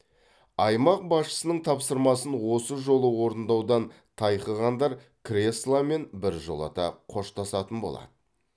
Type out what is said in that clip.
аймақ басшысының тапсырмасын осы жолы орындаудан тайқығандар кресломен біржолата қоштасатын болады